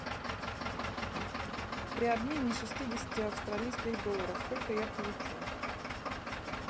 при обмене шестидесяти австралийских долларов сколько я получу